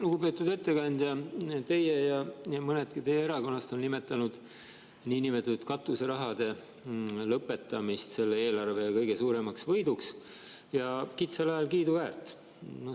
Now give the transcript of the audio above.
Lugupeetud ettekandja, teie olete ja mõnedki teised teie erakonnast on nimetanud niinimetatud katuserahade lõpetamist selle eelarve kõige suuremaks võiduks – kitsal ajal kiiduväärt.